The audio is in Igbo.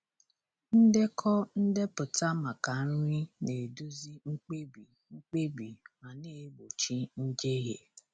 Ndekọ ndepụta maka nri na-eduzi mkpebi mkpebi ma na-egbochi njehie.